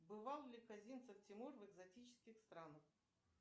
бывал ли козинцев тимур в экзотических странах